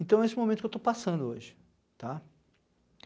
Então é esse o momento que eu estou passando hoje, tá.